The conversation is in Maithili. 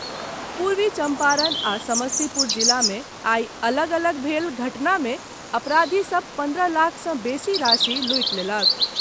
पूर्वी चम्पारण आ समस्तीपुर जिला मे आइ अलग अलग भेल घटना मे अपराधी सभ पन्द्रह लाखसँ बेसी राशि लूटि लेलक।